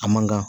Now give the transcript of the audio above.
A man kan